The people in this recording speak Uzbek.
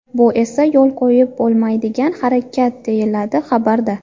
Bu esa yo‘l qo‘yib bo‘lmaydigan harakat”, deyiladi xabarda.